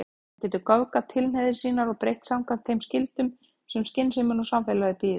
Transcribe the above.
Hann getur göfgað tilhneigingar sínar og breytt samkvæmt þeim skyldum sem skynsemin og samfélagið býður.